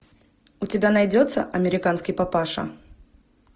у тебя найдется американский папаша